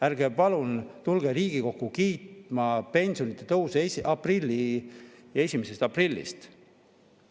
Ärge palun tulge Riigikokku kiitma pensionide tõusu 1. aprillist.